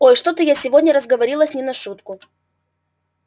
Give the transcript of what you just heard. ой что-то я сегодня разговорилась не на шутку